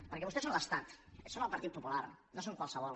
perquè vostès són l’estat són el partit popular no són qualssevol